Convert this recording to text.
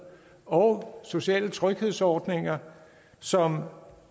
og sociale tryghedsordninger som